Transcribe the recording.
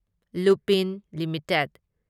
Lupin limited